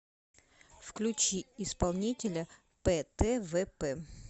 включи исполнителя птвп